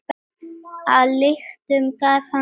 Að lyktum gaf hann sig.